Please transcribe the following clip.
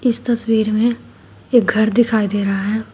इस तस्वीर में एक घर दिखाई दे रहा है।